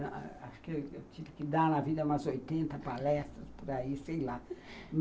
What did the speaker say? Acho que eu tive que dar na vida umas oitenta palestras por aí, sei lá.